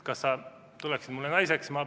Kas sa tuleksid mulle naiseks?